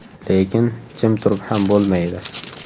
Lekin jim turib ham bo‘lmaydi.